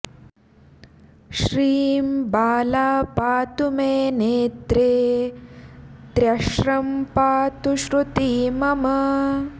श्रीं बाला पातु मे नेत्रे त्र्य श्रं पातु श्रुती मम